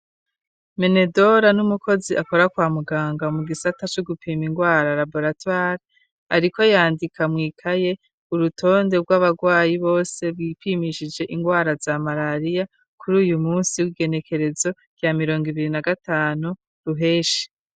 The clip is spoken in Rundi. Menedora n'umukozi akora kwa muganga mu gisata cu gupima ingwara Raboratware ariko yandika mwikaye urutonde rw'abagwayi bose bipimishije ingwara za malariya kuri uyu munsi w'igenekerezo rya mirongo ibiri na gatanu ruheshi.